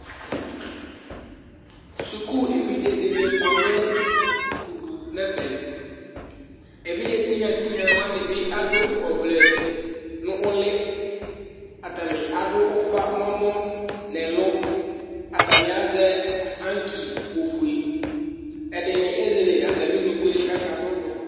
Sʋku evidze ɖi kɔ ŋu ʋdu ŋu ɛfɛ Evidze tinya tinya waŋi bi aɖu ɔvlɛ ŋu ʋli Ataŋi aɖu ʋfa ŋu ɛmɔ ŋu ɛlu Ataŋi azɛ anki ɔfʋe Ɛɖìní ezɛle atami ʋnʋkue kʋ akaɖʋ ʋnɔ